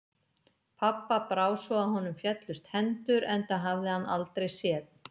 Pabba brá svo að honum féllust hendur, enda hafði hann aldrei séð